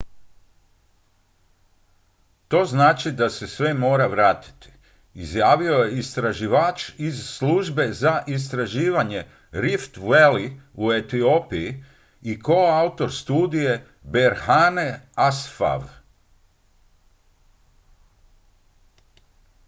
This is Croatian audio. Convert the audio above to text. to znači da se sve mora vratiti izjavio je istraživač iz službe za istraživanje rift valley u etiopiji i koautor studije berhane asfaw